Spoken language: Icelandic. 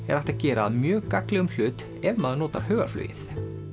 er hægt að gera að mjög gagnlegum hlut ef maður notar hugarflugið